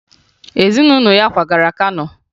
Ezunụlọ ya kwagara Kano